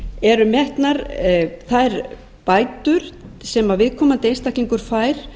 eru metnar þær bætur sem viðkomandi einstaklingur fær